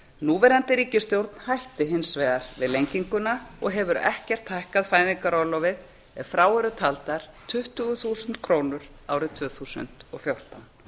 núverandi ríkisstjórn hætti hins vegar við lenginguna og hefur ekkert hækkað fæðingarorlofið ef frá eru taldar tuttugu þúsund krónur árið tvö þúsund og fjórtán